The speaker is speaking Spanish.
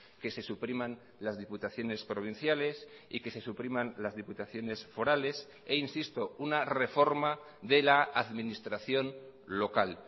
que se supriman las diputaciones provinciales y que se supriman las diputaciones forales e insisto una reforma de la administración local